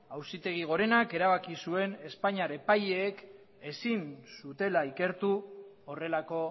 auzitegi gorenak erabaki zuen espainiar epaileek ezin zutela ikertu horrelako